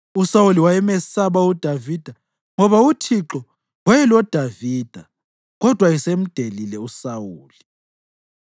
USawuli wayemesaba uDavida ngoba uThixo wayeloDavida kodwa esemdelile uSawuli.